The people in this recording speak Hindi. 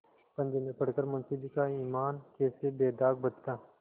पंजे में पड़ कर मुंशीजी का ईमान कैसे बेदाग बचता